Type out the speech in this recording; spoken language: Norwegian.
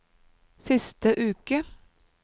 siste uke